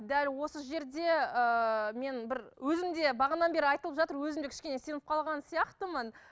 дәл осы жерде ыыы мен бір өзім де бағанада бері айтылып жатыр өзімде кішкене сеніп қалған сияқтымын